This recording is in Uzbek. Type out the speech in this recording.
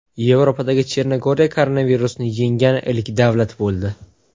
Yevropada Chernogoriya koronavirusni yengan ilk davlat bo‘ldi.